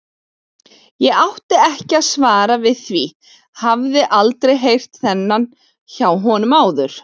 Ég átti ekki svar við því, hafði aldrei heyrt þennan hjá honum áður.